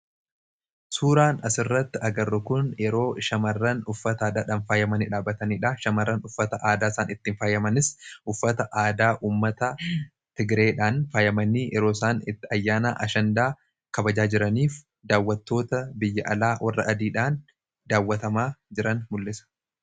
Suuraan asirratti agarrokuun yeroo shamarran uffata aadaadhaan faayyamanii dhaabataniidha. Shamarran uffata aadaa isaan ittiin faayyamanis uffata aadaa ummata tigireedhaan faayyamanii yerooisaan itti ayyaana ashandaa kabajaa jiraniif daawwatoota biyya alaa warra adiidhaan daawwatamaa jiran mul'isa.